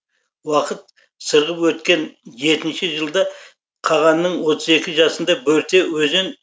уақыт сырғып өткен жетінші жылда қағанның отыз екі жасында бөрте өзен